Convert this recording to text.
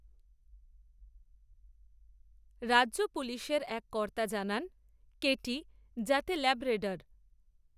রাজ্য পুলিশের এক কর্তা জানান, কেটি, জাতে ল্যাব্রেডর